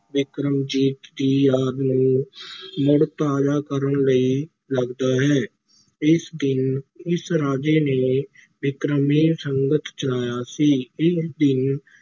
ਬਿਕਰਮਾਜੀਤ ਦੀ ਯਾਦ ਨੂੰ ਮੁੜ ਤਾਜ਼ਾ ਕਰਨ ਲਈ ਲੱਗਦਾ ਹੈ, ਇਸ ਦਿਨ ਇਸ ਰਾਜੇ ਨੇ ਬਿਕਰਮੀ ਸੰਮਤ ਚਲਾਇਆ ਸੀ, ਇਸ ਦਿਨ